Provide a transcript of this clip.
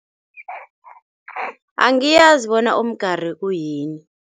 Angiyazi bona umgari uyini.